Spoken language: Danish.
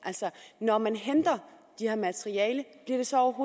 når man henter det her materiale bliver det så